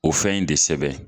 O fɛn in de sɛbɛn